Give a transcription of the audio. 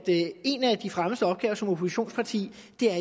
en af de fremmeste opgaver som oppositionsparti